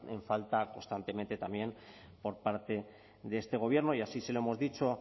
en falta constantemente también por parte de este gobierno y así se lo hemos dicho